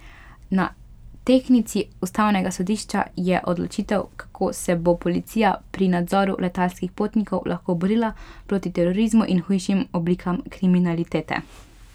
Na tehtnici ustavnega sodišča je odločitev, kako se bo policija pri nadzoru letalskih potnikov lahko borila proti terorizmu in hujšim oblikam kriminalitete.